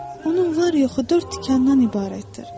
onun var-yoxu dörd tikandan ibarətdir.